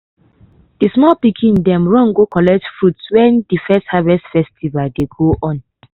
de small pikin dem happy run go collect fruits wen de first harvest festival dey go on.